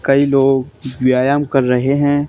कई लोग व्यायाम कर रहें हैं।